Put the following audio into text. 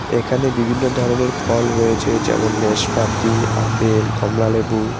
এখানে বিভিন্ন ধরনের ফল রয়েছে যেমন ন্যাসপাতি আপেল কমলালেবু।